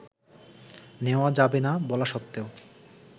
নেওয়া যাবে না বলা সত্ত্বেও